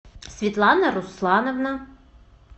светлана руслановна